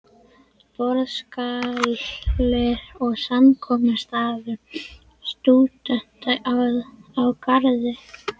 Borðsalur og samkomustaður stúdenta á Garði.